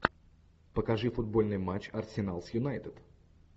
покажи футбольный матч арсенал с юнайтед